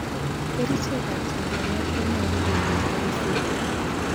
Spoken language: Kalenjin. Kerichek ab chanchanet konyolu keiben bokisit nekaitit.